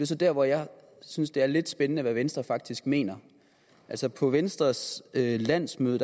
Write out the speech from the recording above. så dér hvor jeg synes det er lidt spændende hvad venstre faktisk mener altså på venstres landsmøde